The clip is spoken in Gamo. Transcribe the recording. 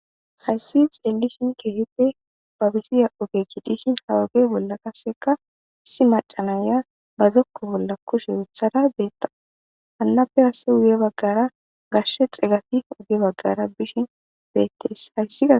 Hayssi xelishin keehipe babisiya ogekki dishin hawuge bolla qaseka issi macanaya bazokko bolla kushe uthada beettaa hallafe kasse uge baggara gashshe xegafi uge baggara bishin beettes hayssia.